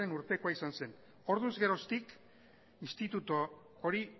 urtekoa izan zen orduz geroztik instituto hori